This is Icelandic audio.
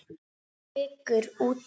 Sykur út í.